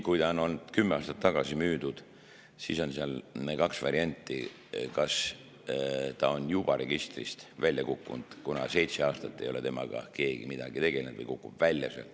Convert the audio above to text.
Kui see auto on kümme aastat tagasi müüdud, siis on seal kaks varianti: kas ta on juba registrist välja kukkunud, kuna seitse aastat ei ole temaga keegi midagi teinud, või kukub välja.